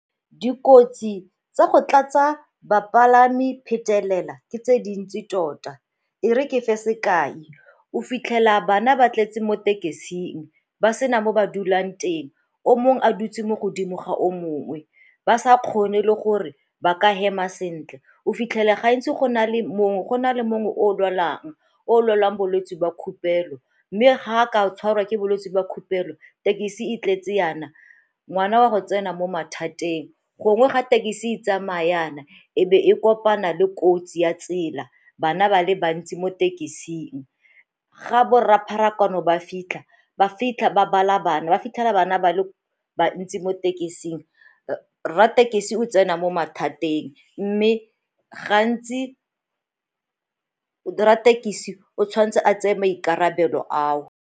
Dikotsi tsa go tlatsa bapalami phetelela ke tse dintsi tota e re ke fe sekai, o fitlhela bana ba tletse mo tekesing ba sena mo ba dulang teng, o mongwe a dutse mo godimo ga o mongwe, ba sa kgone gore ba ka hema sentle. O fitlhela gantsi go na le mongwe go na le mongwe o o lwalang, o lwalang bolwetsi jwa khupelo mme ga a ka tshwarwa ke bolwetsi jwa khupelo thekisi e tletse yana ngwana o a go tsena mo mathateng gongwe ga thekisi ie tsamaya yana e be e kopana le kotsi ya tsela bana ba le bantsi mo tekesing. Ga bo rra pharakano ba fitlha, ba fitlha ba palama bana ba fitlhela bana ba le bantsi mo tekesing rra tekesi o tsena mo mathateng mme gantsi rra tekesi o tshwanetse a tseye maikarabelo ao.